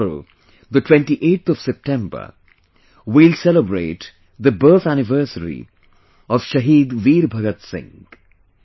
Tomorrow, the 28th of September, we will celebrate the birth anniversary of Shahid Veer Bhagat Singh